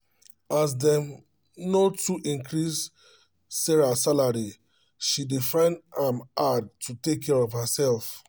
as dem no too increase sarah salary she dey find am hard to take care of herself